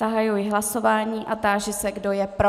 Zahajuji hlasování a táži se, kdo je pro.